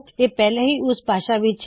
ਇਹ ਪਹਿਲੇ ਹੀ ਲੁੜੀਂਦੀ ਭਾਸ਼ਾ ਵਿੱਚ ਹੈ